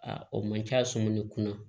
A o man ca sɔmi kunna